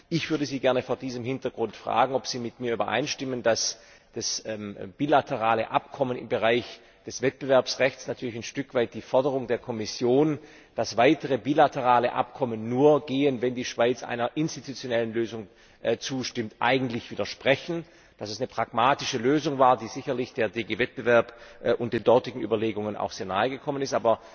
Ich würde Sie gerne vor diesem Hintergrund fragen, ob Sie mit mir übereinstimmen, dass das bilaterale Abkommen im Bereich des Wettbewerbsrechts natürlich ein Stück weit den Forderungen der Kommission, dass weitere bilaterale Abkommen nur gehen, wenn die Schweiz einer institutionellen Lösung zustimmt, eigentlich widersprechen, dass es eine pragmatische Lösung war, die sicherlich der GD Wettbewerb und den dortigen Überlegungen auch sehr nahe gekommen ist.